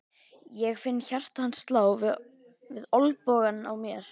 Ég finn hjarta hans slá við olnbogann á mér.